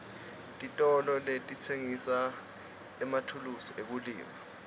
titolo letitsengisa emathulusi ekulima